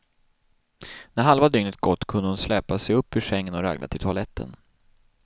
När halva dygnet gått kunde hon släpa sig upp ur sängen och ragla till toaletten.